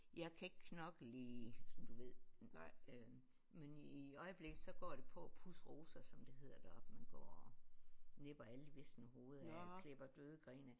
Jeg kan ikke knokle i sådan du ved øh men i øjeblikket så går det på at pudse roser som det hedder deroppe man går og nipper alle de visne hoveder af og klipper døde grene af